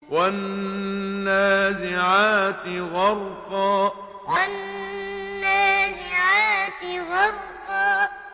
وَالنَّازِعَاتِ غَرْقًا وَالنَّازِعَاتِ غَرْقًا